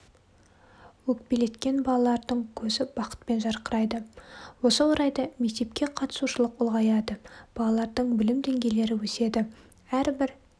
өкпелеткен балалардың көзі бақытпен жарқырайды осы орайда мектепке қатысушылық ұлғаяды балалардың білім деңгейлері өседі әрбір